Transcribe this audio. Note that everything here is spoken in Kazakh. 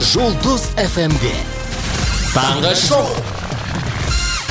жұлдыз эф эм де таңғы шоу